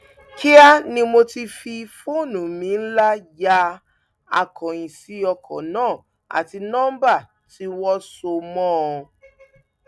kíá ni mo ti fi fóònù mi ńlá ya akóyíǹsì ọkọ náà àti nọmba tí wọn sọ mọ ọn